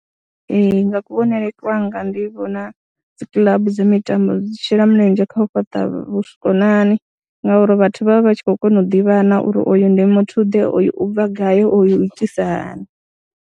Ee, nga kuvhonele kwanga ndi vhona dzi club dza mitambo dzi shela mulenzhe kha u fhaṱa vhukonani ngauri vhathu vha vha vha tshi khou kona u ḓivhana uri oyu ndi muthuḓe, oyu u bva gai, oyu u itisa hani.